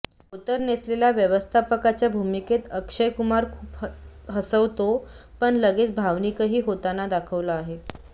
धोतर नेसलेल्या व्यवस्थापकाच्या भूमिकेत अक्षय कुमार खूपच हसवतो पण लगेच भावनिकही होताना दाखवला आहे